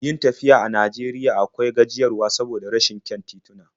Yin tafiya a Najeriya akwai gajiyarwa saboda rashin kyan tituna.